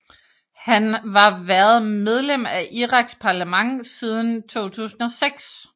Han var været medlem af Iraks parlament siden 2006